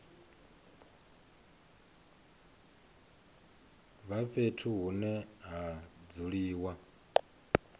vha fhethu hune ha dzuliwa